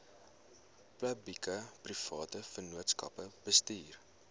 publiekeprivate vennootskappe bestuur